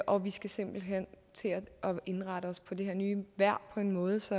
og vi skal simpelt hen til at indrette os på det her nye vejr på en måde så